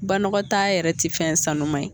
Banɔgɔtaaa yɛrɛ tɛ fɛn sanuma ye.